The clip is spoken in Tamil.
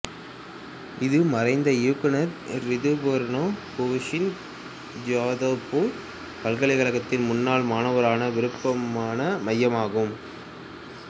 இது மறைந்த இயக்குனர் ரிதுபர்ணோ கோஷின் ஜாதவ்பூர் பல்கலைக்கழகத்தின் முன்னாள் மாணவரான விருப்பமான மையமாகும்